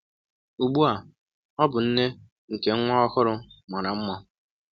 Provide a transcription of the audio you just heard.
Ugbu a ọ bụ nne nke nwa ọhụrụ mara mma.